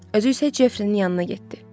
Özü isə Jefrinin yanına getdi.